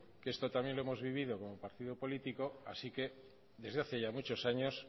que esto también lo hemos vivido como partido político así que desde hace ya muchos años